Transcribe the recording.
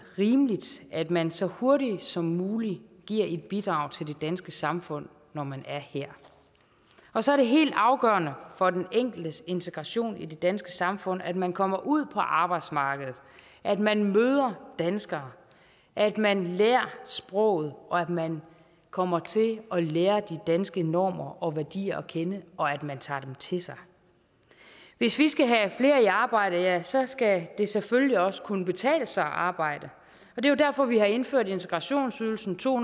rimeligt at man så hurtigt som muligt giver et bidrag til det danske samfund når man er her og så er det helt afgørende for den enkeltes integration i det danske samfund at man kommer ud på arbejdsmarkedet at man møder danskere at man lærer sproget og at man kommer til at lære de danske normer og værdier at kende og at man tager dem til sig hvis vi skal have flere i arbejde ja så skal det selvfølgelig også kunne betale sig at arbejde og det er derfor vi har indført integrationsydelsen to